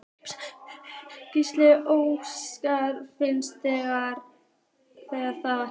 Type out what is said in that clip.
Gísli Óskarsson: Finnst þér það?